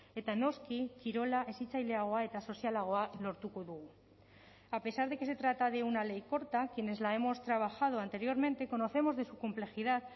eta noski kirola hezitzaileagoa eta sozialagoa lortuko dugu a pesar de que se trata de una ley corta quienes la hemos trabajado anteriormente conocemos de su complejidad